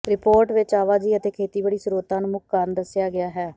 report ਵਿਚ ਆਵਾਜਾਈ ਅਤੇ ਖੇਤੀਬਾੜੀ ਸ੍ਰੋਤਾਂ ਨੂੰ ਮੁੱਖ ਕਾਰਨ ਦੱਸਿਆ ਗਿਆ ਹੈ